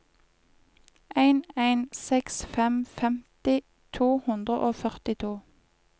en en seks fem femti to hundre og førtito